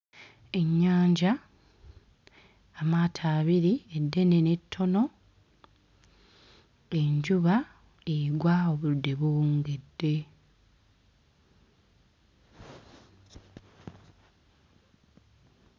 Ennyanja amaato abiri eddene n'ettono enjuba egwa obudde buwungedde.